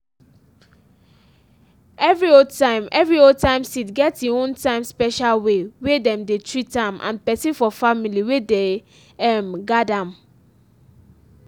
every old-time every old-time seed get e own time special way wey dem dey treat am and person for family wey dey um guard am.